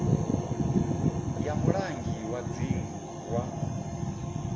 ya mulangi wa dzingu wa